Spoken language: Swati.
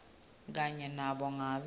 kanye nanobe ngabe